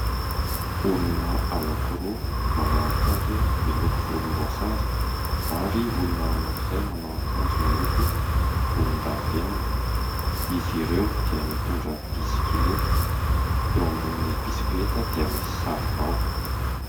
Olona anankiroa manao akanjo miloko volomboasary ary olona anankiray manao akanjo miloko volondavenona. Izy ireo dia mitondra bisikileta, eo ambonin'ireo bisikileta dia misy saribao.